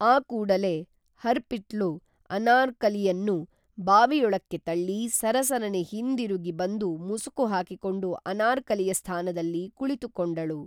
ಆ ಕೂಡಲೇ ಹರ್ಪ್ರೀತ್ಳು ಅನಾರ್ಕಲಿಯನ್ನು ಬಾವಿಯೊಳಕ್ಕೆ ತಳ್ಳಿ ಸರಸರನೆ ಹಿಂದಿರುಗಿ ಬಂದು ಮುಸುಕು ಹಾಕಿಕೊಂಡು ಅನಾರ್ಕಲಿಯ ಸ್ಥಾನದಲ್ಲಿ ಕುಳಿತು ಕೊಂಡಳು